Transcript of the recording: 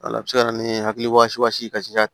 Wala a bɛ se ka na ni hakili kasi